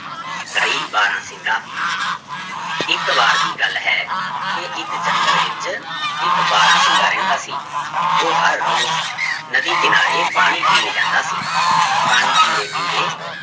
ਬਾਰਾਂਸਿੰਗਾ ਇੱਕ ਵਾਰ ਦੀ ਗੱਲ ਹੈ ਕਿ ਇੱਕ ਜੰਗਲ ਵਿੱਚ ਇੱਕ ਬਾਰਾਂਸਿੰਗਾ ਰਹਿੰਦਾ ਸੀ, ਉਹ ਹਰ ਰੋਜ਼ ਨਦੀ ਕਿਨਾਰੇ ਪਾਣੀ ਪੀਣ ਜਾਂਦਾ ਸੀ, ਪਾਣੀ ਪੀਂਦੇ ਪੀਂਦੇ